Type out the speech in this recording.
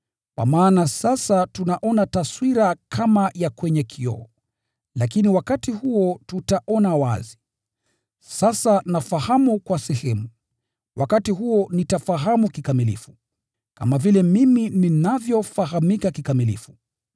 Kwa maana sasa tunaona taswira kama kwa kioo, lakini wakati huo tutaona wazi. Sasa nafahamu kwa sehemu, wakati huo nitafahamu kikamilifu, kama vile mimi ninavyofahamika kikamilifu.